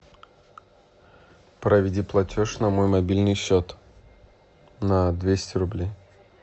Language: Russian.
проведи платеж на мой мобильный счет на двести рублей